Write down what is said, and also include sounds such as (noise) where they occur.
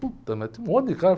(unintelligible) mas tinha um monte de cara.